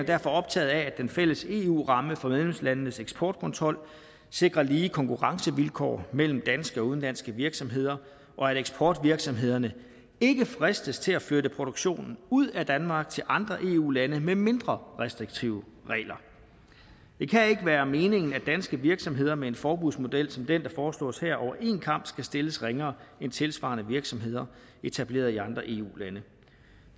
derfor optaget af at den fælles eu ramme for medlemslandenes eksportkontrol sikrer lige konkurrencevilkår mellem danske og udenlandske virksomheder og at eksportvirksomhederne ikke fristes til at flytte produktionen ud af danmark til andre eu lande med mindre restriktive regler det kan ikke være meningen at danske virksomheder med en forbudsmodel som den der foreslås her over en kam skal stilles ringere end tilsvarende virksomheder etableret i andre eu lande